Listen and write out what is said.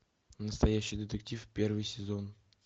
настоящий детектив первый сезон